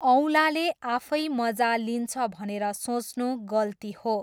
औँलाले आफै मजा लिन्छ भनेर सोच्नु गल्ती हो।